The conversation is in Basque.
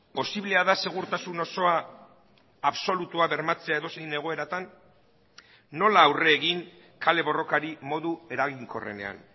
posiblea da segurtasun osoa absolutua bermatzea edozein egoeratan nola aurre egin kale borrokari modu eraginkorrenean